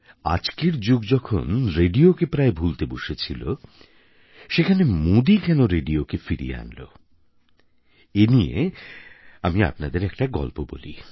আজকের যুগে মানুষ যখন রেডিওকে প্রায় ভুলতে বসেছিল সেখানে মোদী কেন রেডিওকে ফিরিয়ে আনল এ নিয়ে আমি আপনাদের একটা গল্প বলি